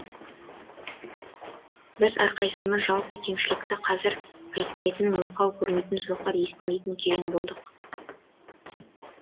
біз әрқайсысымыз жалпы кемшілікті қазір айтпайтын мылқау көрмейтін соқыр естімейтін керең болдық